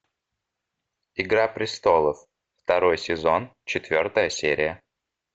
игра престолов второй сезон четвертая серия